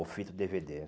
Ou fita ou dê vê dê